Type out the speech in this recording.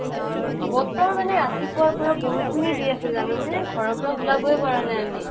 বতাহ মানে ৰাতিপুৱাৰ পৰা বৰষুনে দি আছে জানানে? ঘৰৰ পৰা ওলাবই পৰা নাই আমি।